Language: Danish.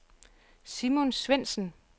Simon Svendsen